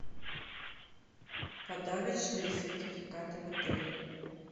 подарочные сертификаты в отеле